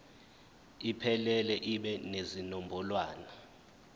iphelele ibe nezinombolwana